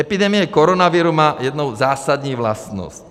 Epidemie koronaviru má jednu zásadní vlastnost.